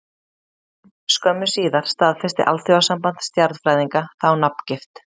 Skömmu síðar staðfesti Alþjóðasamband stjarnfræðinga þá nafngift.